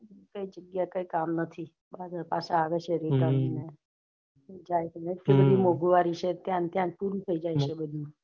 બધી જગ્યા કઈ કામ નથી બધા પાછા આવે છ return મોન્ગું વાડી છે ત્યાં ત્યાં ન પૂરી થઇ જાય છે બધી